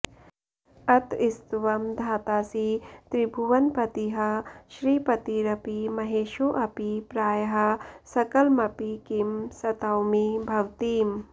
अतस्त्वं धातासि त्रिभुवनपतिः श्रीपतिरपि महेशोऽपि प्रायः सकलमपि किं स्तौमि भवतीम्